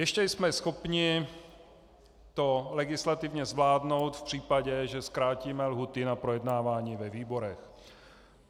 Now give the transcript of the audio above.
Ještě jsme schopni to legislativně zvládnout v případě, že zkrátíme lhůty na projednávání ve výborech.